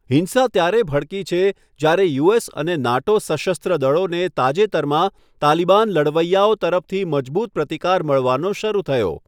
હિંસા ત્યારે ભડકી છે જ્યારે યુએસ અને નાટો સશસ્ત્ર દળોને તાજેતરમાં તાલિબાન લડવૈયાઓ તરફથી મજબૂત પ્રતિકાર મળવાનો શરૂ થયો.